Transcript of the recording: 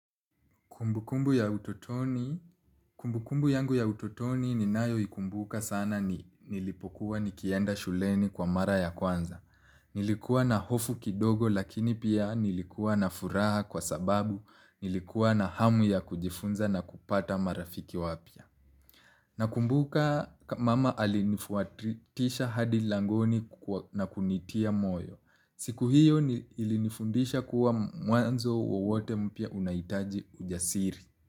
Kumbukumbu ya utotoni, kumbukumbu yangu ya utotoni ninayo ikumbuka sana ni nilipokuwa nikienda shuleni kwa mara ya kwanza. Nilikuwa na hofu kidogo lakini pia nilikuwa na furaha kwa sababu, nilikuwa na hamu ya kujifunza na kupata marafiki wapia. Nakumbuka mama alinifuatisha hadi langoni na kunitia moyo. Siku hiyo ilinifundisha kuwa mwanzo wowote mpya unahitaji ujasiri.